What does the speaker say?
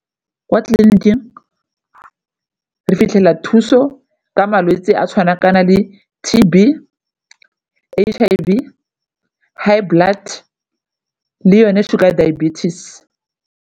Kwa tleliniking re fitlhela thuso ka malwetse a tshwana kana le T_B, H_I_V, high blood le yone sugar diabetes.